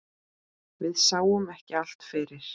Við sáum ekki allt fyrir.